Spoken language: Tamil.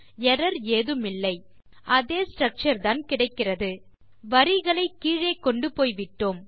எர்ரர் ஏதுமில்லை அதே ஸ்ட்ரக்சர் தான் கிடைக்கிறது வரிகளை கீழே கொண்டு போய்விட்டோம்